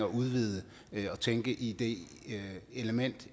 at udvide og tænke i det element